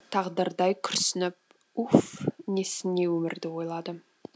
тағдырдай күрсініп уф несіне өмірді ойладым